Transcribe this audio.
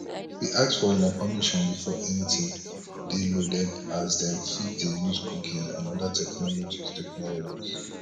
we ask for una permission before anytin dey loaded as dem fit dey use cookies and oda technologies technologies